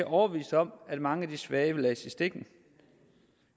overbevist om at mange af de svage vil blive ladt i stikken